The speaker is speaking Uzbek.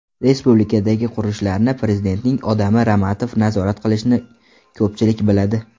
Respublikadagi qurilishlarni prezidentning odami Ramatov nazorat qilishini ko‘pchilik biladi.